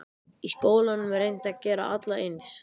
Í skólum er reynt að gera alla eins.